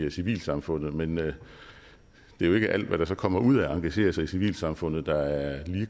i civilsamfundet men det er jo ikke alt der så kommer ud af at engagere sig i civilsamfundet der er